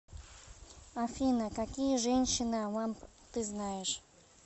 афина какие женщина вамп ты знаешь